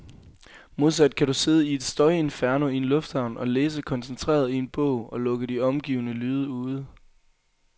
Modsat kan du sidde i et støjinferno i en lufthavn og læse koncentreret i en bog, og lukke de omgivende lyde ude.